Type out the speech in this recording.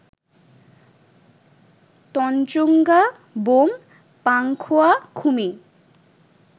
Tanchangya, Bawm, Pankhua, Khumi